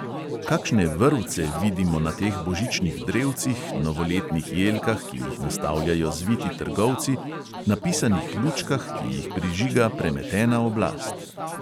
Kakšne "vrvce" vidimo na teh božičnih drevcih, novoletnih jelkah, ki jih nastavljajo zviti trgovci, na pisanih lučkah, ki jih prižiga premetena oblast?